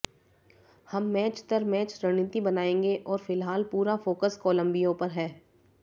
हम मैच दर मैच रणनीति बनाएंगे और फिलहाल पूरा फोकस कोलंबिया पर है